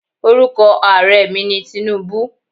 Orúkọ Ààrẹ mi ni Tinubu